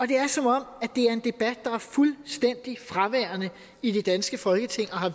det er som om det er en debat der er fuldstændig fraværende i det danske folketing og har